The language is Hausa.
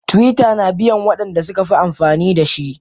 Twitter na biyan Wanda sukafi amfani dashi.